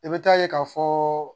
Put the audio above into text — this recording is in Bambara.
I bɛ taa ye ka fɔ